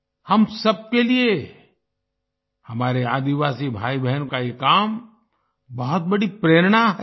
हम सब के लिए हमारे आदिवासी भाईबहनों का ये काम बहुत बड़ी प्रेरणा है